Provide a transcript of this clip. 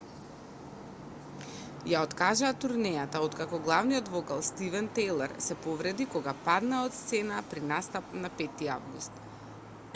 ја откажаа турнејата откако главниот вокал стивен тајлер се повреди кога падна од сцената при настап на 5 август